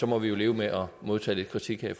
må vi jo leve med at modtage lidt kritik her